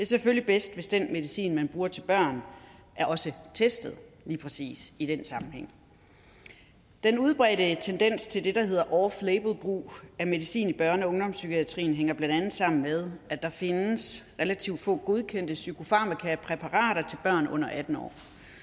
selvfølgelig bedst hvis den medicin man bruger til børn også er testet lige præcis i den sammenhæng den udbredte tendens til det der hedder off label brug af medicin i børne og ungdomspsykiatrien hænger blandt andet sammen med at der findes relativt få godkendte psykofarmakapræparater til børn under atten år